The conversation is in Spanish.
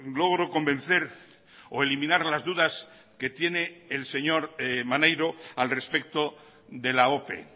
logro convencer o eliminar las dudas que tiene el señor maneiro al respecto de la ope